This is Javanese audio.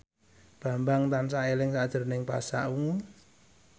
Bambang tansah eling sakjroning Pasha Ungu